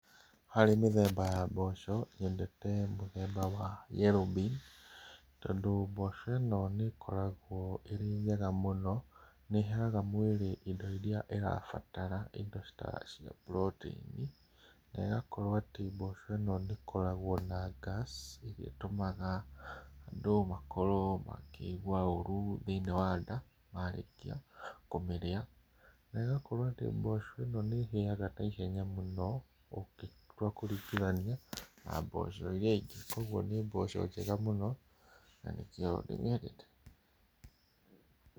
Harĩ mĩthemba ya mboco, nyendete mũthemba wa yellow bean tondũ mboco ĩno nĩkoragũo ĩrĩ njega mũno, nĩheaga mwĩrĩ indo iria ĩrabatara, indo ta cia protein i. Na ĩgakorwo atĩ mboco ĩno ndĩkoragwo na gas, ĩrĩa ĩtũmaga andũ makorwo makĩigua ũru thĩinĩ wa nda marĩkia kũmĩrĩa. Na ĩgakorwo atĩ mboco ĩno nĩhĩaga naihenya mũno, ũngĩtua kũringithania na mboco iria ingĩ, kuoguo nĩ mboco njega mũno, na nĩkĩo ndĩmĩendete.